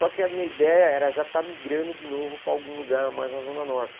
Só que a minha ideia era já estar migrando de novo para algum lugar mais na Zona Norte.